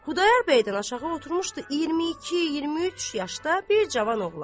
Xudayar bəydən aşağı oturmuşdu 22-23 yaşda bir cavan oğlan.